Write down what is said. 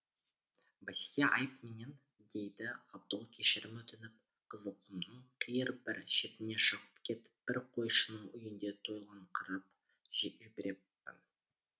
басеке айып менен дейді ғабдол кешірім өтініп қызылқұмның қиыр бір шетіне шығып кетіп бір қойшының үйінде тойлаңқырап жіберіппін